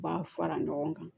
U b'a fara ɲɔgɔn kan